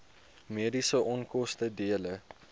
mediese onkoste dele